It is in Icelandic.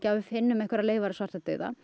við finnum einhverjar leifar af svartadauða